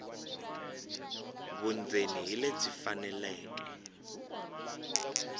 vundzeni hi lebyi faneleke